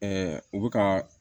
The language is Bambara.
u bɛ ka